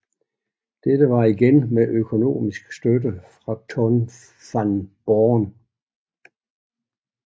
Dette var igen med økonomisk støtte fra Ton van Born